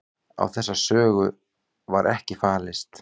Á þessa sögu var ekki fallist